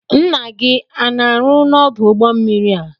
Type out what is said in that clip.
Nna gị ana arụ n'odu ụgbọ mmiri a?